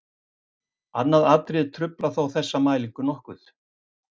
Annað atriði truflar þó þessa mælingu nokkuð.